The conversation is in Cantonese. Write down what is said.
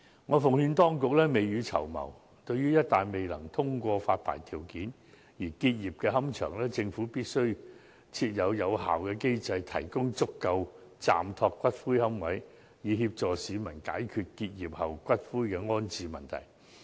我奉勸當局必須未雨綢繆，對於一旦未能通過發牌條件而結業的龕場，政府必須設立有效的機制，提供足夠的暫託龕位，協助市民解決龕場結業後的骨灰安置問題。